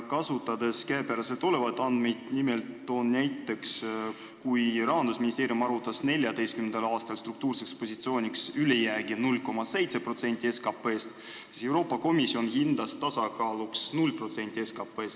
Kasutan käepärast olevaid andmeid, nimelt toon näiteks, et kui Rahandusministeerium arvutas 2014. aastal struktuurseks positsiooniks ülejäägi 0,7% SKT-st, siis Euroopa Komisjon hindas tasakaaluks 0% SKT-st.